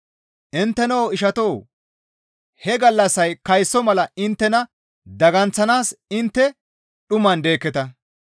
Intteno ishatoo! He gallassay kayso mala inttena daganththanaas intte dhuman deekketa.